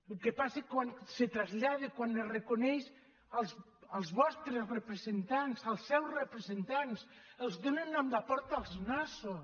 el que passa quan se trasllada quan es reconeix els vostres representants els seus representants els donen amb la porta als nassos